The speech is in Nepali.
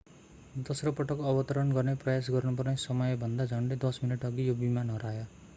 दोस्रो पटक अवतरण गर्ने प्रयास गर्नुपर्ने समयभन्दा झन्डै दश मिनेटअघि यो विमान हरायो